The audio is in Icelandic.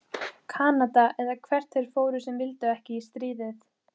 Kanada, eða hvert þeir fóru sem vildu ekki í stríðið.